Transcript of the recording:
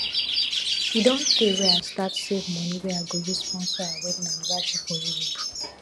e don tey wey i start save money wey i go use sponsor our wedding anniversary for europe